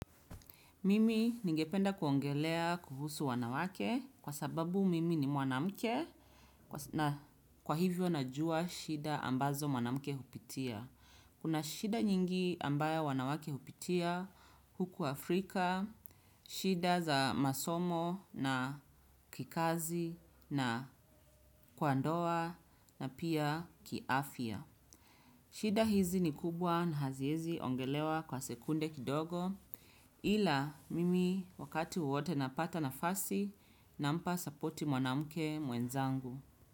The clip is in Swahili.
Mimi ningependa kuongelea kuhusu wanawake kwa sababu mimi ni mwanamke na kwa hivyo najua shida ambazo mwanamke hupitia. Kuna shida nyingi ambayo wanawake hupitia huku Afrika, shida za masomo na kikazi na kwa ndoa na pia kiafya. Shida hizi ni kubwa na haziezi ongelewa kwa sekunde kidogo ila mimi wakati wowote napata nafasi nampa support mwanamke mwenzangu.